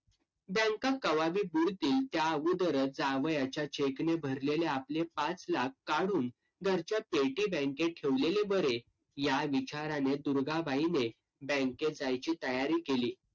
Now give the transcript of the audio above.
बँका कवा बी बुडतील त्या अगुदरच जावयाच्या cheque ने भरलेले आपले पाच लाख काढून घरच्या पेटी बँकेत ठेवलेले बरे या विचाराने दुर्गाबाईने बँकेत जायची तयारी केली.